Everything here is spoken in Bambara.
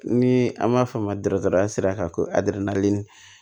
Ni an b'a f'a ma dɔrɔmɛ sira kan ko